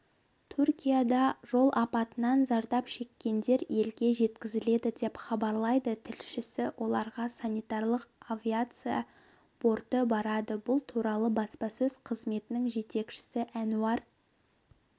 түркияда жол апатынан зардап шеккендер елге жеткізіледі деп хабарлайды тілшісі оларға санитарлық авиация борты барады бұл туралы баспасөз қызметінің жетекшісі әнуар